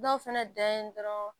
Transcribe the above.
Dɔw fɛnɛ da yen dɔrɔn